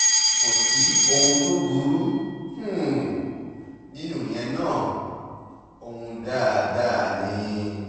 kò sí ohun tó burú um nínú ìyẹn náà ọ̀hún dáadáa ni ni um